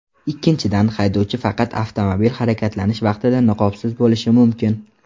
Ikkinchidan, haydovchi faqat avtomobil harakatlanish vaqtida niqobsiz bo‘lishi mumkin.